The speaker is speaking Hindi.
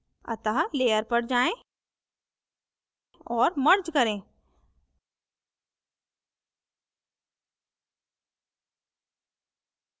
अतः layer पर जाएँ और merge करें